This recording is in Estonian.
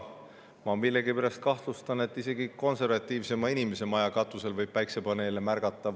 Ma millegipärast kahtlustan, et isegi konservatiivsema inimese maja katusel võib päiksepaneele märgata.